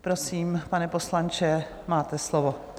Prosím, pane poslanče, máte slovo.